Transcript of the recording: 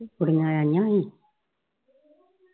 ਕੁੜੀਆਂ ਆਈਆਂ ਸੀ